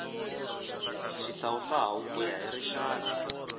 xihlawuhlawu ku ya hi rixaka